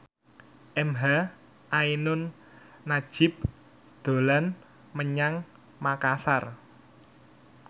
emha ainun nadjib dolan menyang Makasar